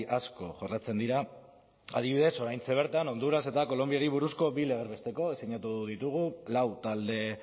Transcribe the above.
asko jorratzen dira adibidez oraintxe bertan honduras eta kolonbiari buruzko bi legez besteko sinatu ditugu lau talde